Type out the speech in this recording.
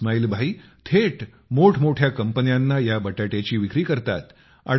इस्माईल भाई थेट मोठमोठ्या कंपन्यांना या बटाट्याची विक्री करतात